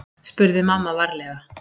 spurði mamma varlega.